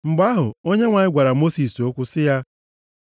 Mgbe ahụ, Onyenwe anyị gwara Mosis okwu sị ya,